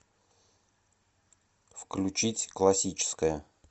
включить классическая